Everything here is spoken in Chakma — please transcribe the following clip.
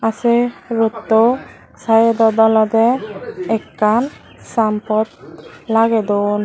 say ruttow sitedot oloday akan sinebot lagey duon.